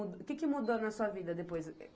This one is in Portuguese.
O que que mudou na sua vida depois